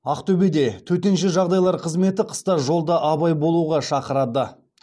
ақтөбеде төтенше жағдайлар қызметі қыста жолда абай болуға шақырады